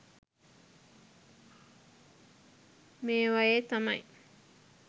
මේවයෙ තමයි